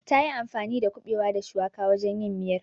Tayi anfani da kuɓewa da shuwaka wajen yin miyar.